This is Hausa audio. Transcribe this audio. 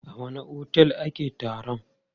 A wanne otel ake taron?